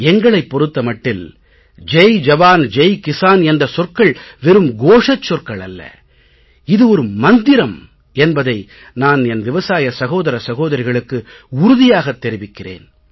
எங்களைப் பொறுத்த மட்டில் ஜெய் ஜவான் ஜெய் கிஸான் என்ற சொற்கள் வெறும் கோஷச் சொற்கள் அல்ல இது ஒரு மந்திரம் என்பதை நான் என் விவசாய சகோதர சகோதரிகளுக்கு உறுதியாகத் தெரிவிக்கிறேன்